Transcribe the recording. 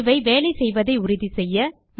இவை வேலை செய்வதை உறுதி செய்ய